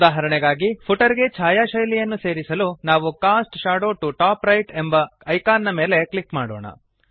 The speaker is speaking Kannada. ಉದಾಹರಣೆಗಾಗಿ ಫುಟರ್ ಗೆ ಛಾಯಾಶೈಲಿಯನ್ನು ಸೇರಿಸಲು ನಾವು cast shadow to top right ಎಂಬ ಐಕಾನ್ ನ ಮೇಲೆ ಕ್ಲಿಕ್ ಮಾಡೋಣ